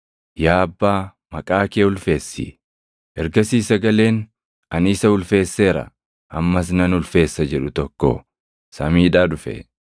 Yaa Abbaa, maqaa kee ulfeessi!” Ergasii sagaleen, “Ani isa ulfeesseera; ammas nan ulfeessa” jedhu tokko samiidhaa dhufe.